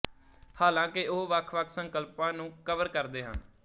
ਹਾਲਾਂਕਿ ਉਹ ਵੱਖਵੱਖ ਸੰਕਲਪਾਂ ਨੂੰ ਕਵਰ ਕਰਦੇ ਹਨ